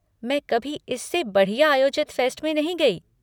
मैं कभी इससे बढ़िया आयोजित फेस्ट में नहीं गई।